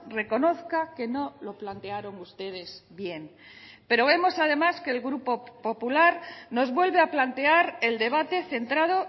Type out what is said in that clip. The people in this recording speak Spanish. reconozca que no lo plantearon ustedes bien pero vemos además que el grupo popular nos vuelve a plantear el debate centrado